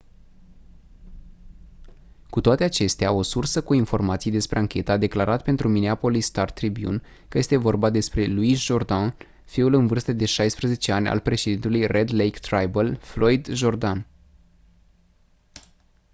cu toate acestea o sursă cu informații despre anchetă a declarat pentru minneapolis star-tribune că este vorba despre louis jourdain fiul în vârstă de 16 ani al președintelui red lake tribal floyd jourdain